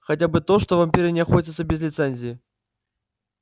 хотя бы то что вампиры не охотятся без лицензии